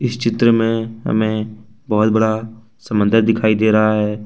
इस चित्र में हमें बहुत बड़ा समंदर दिखाई दे रहा है।